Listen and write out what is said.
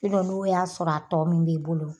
n'o y'a sɔrɔ a tɔ mun b'i bolo